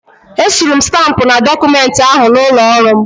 Esuru m stampụ na dọkụmenti ahụ n'ụlọ ọrụ m.